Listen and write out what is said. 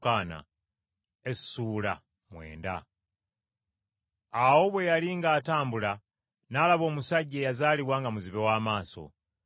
Awo Yesu bwe yali ng’atambula, n’alaba omusajja eyazaalibwa nga muzibe w’amaaso.